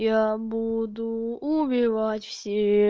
я буду убивать все